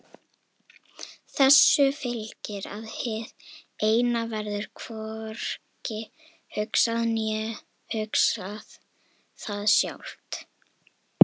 Þessu fylgir að hið Eina verður hvorki hugsað né hugsar það sjálft.